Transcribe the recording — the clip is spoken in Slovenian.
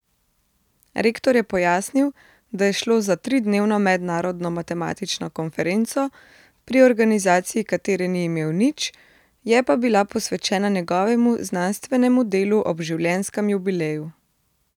Rektor je pojasnil, da je šlo za tridnevno mednarodno matematično konferenco, pri organizaciji katere ni imel nič, je pa bila posvečena njegovemu znanstvenemu delu ob življenjskem jubileju.